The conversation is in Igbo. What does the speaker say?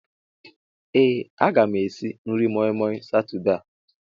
Ee a ga m esi nri moi moi Satọde a.